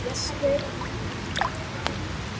Jesper